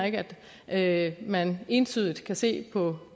at man entydigt kan se på